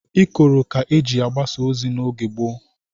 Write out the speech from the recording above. Ikoro ka eji agbasa ozi n'oge gboo